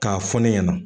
K'a fɔ ne ɲɛna